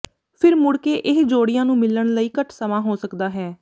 ਫਿਰ ਮੁੜ ਕੇ ਇਹ ਜੋੜਿਆਂ ਨੂੰ ਮਿਲਣ ਲਈ ਘੱਟ ਸਮਾਂ ਹੋ ਸਕਦਾ ਹੈ